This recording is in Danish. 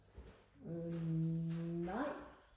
øh nej